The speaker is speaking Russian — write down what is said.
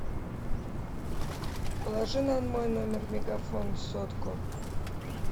положи на мой номер мегафон сотку